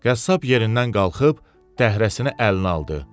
Qəssab yerindən qalxıb dəhrəsini əlinə aldı.